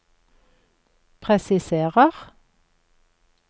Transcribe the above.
presiserer